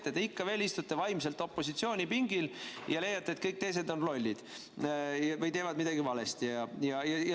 Te istute ikka veel vaimselt opositsiooni pingil ja leiate, et kõik teised on lollid või teevad midagi valesti.